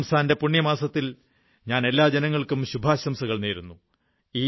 റംസാന്റെ പുണ്യമാസത്തിൽ ഞാൻ എല്ലാ ജനങ്ങൾക്കും ശുഭാശംസകൾ നേരുന്നു